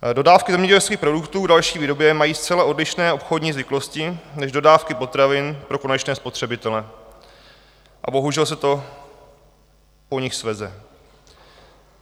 Dodávky zemědělských produktů k další výrobě mají zcela odlišné obchodní zvyklosti než dodávky potravin pro konečné spotřebitele, a bohužel se to po nich sveze.